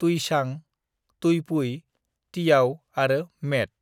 तुईचां, तुईपुई, तियाव आरो मेट।"